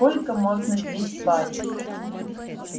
сколько можно здесь париться